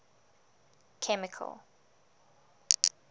chemical